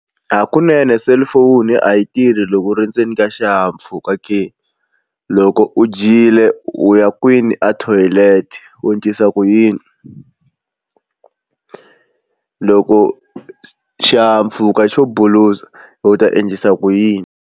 Hakunene cellphone a yi tirhi loko u ri ndzeni ka xihahampfhuka ke loko u dyile u ya kwini a thoyilete u endlisa ku yini loko xihahampfuka xo bulusa u ta endlisa ku yini.